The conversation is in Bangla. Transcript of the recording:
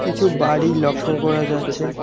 কিছু বাড়ি লক্ষ করা যাচ্ছে।